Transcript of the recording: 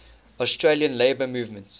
australian labour movement